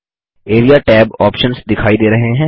area tab options दिखाई दे रहे हैं